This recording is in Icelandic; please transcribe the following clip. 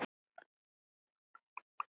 Tel ég bústað vera það.